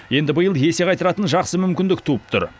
енді биыл есе қайтаратын жақсы мүмкіндік туып тұр